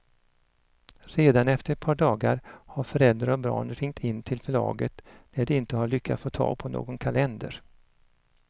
Redan efter ett par dagar har föräldrar och barn ringt in till förlaget när de inte har lyckats få tag på någon kalender.